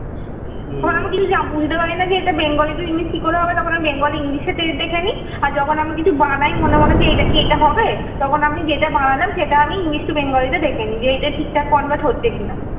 তখন আমি কিছু বুঝতে পারি না যে এটা bengali to english কি করে হবে, তখন আমি bengali english এ দেখে নি আর যখন আমি কিছু বানাই মনে মনে যে এটা কি এটা হবে? তখন আমি যেটা বানালাম সেটা আমি english to bengali তে দেখে নিই, যে এটা ঠিকঠাক convert হচ্ছে কিনা